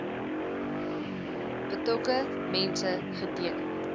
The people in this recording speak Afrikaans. betrokke mense geteken